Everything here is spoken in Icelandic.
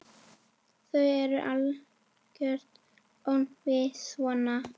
Þú ert algert öngvit svona!